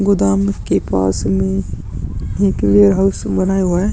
गोदाम के पास में एक वेयरहाउस बनाया हुआ है।